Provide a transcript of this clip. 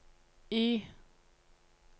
Y